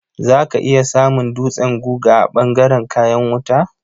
Za ka iya samun dutsen guga a ɓangaren kayan wuta.